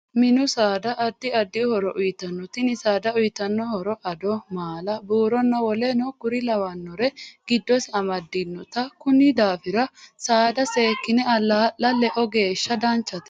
Minu saada addi addi horo uyiitanote tini saada uyiitanno horo addo, maala buuroonna woleno kuri lawanore giddose amadanote kunni daafira saada seekine alaa'la loeo geesha danchate